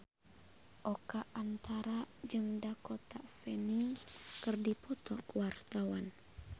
Oka Antara jeung Dakota Fanning keur dipoto ku wartawan